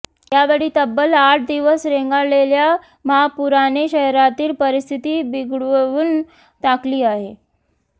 यावेळी तब्बल आठ दिवस रेंगाळलेल्या महापुराने शहरातील परिस्थिती बिघडवून टाकली आहे